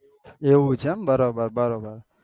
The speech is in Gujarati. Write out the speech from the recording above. એવું છે એમ બરોબર બરોબર